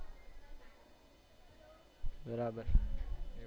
બરાબર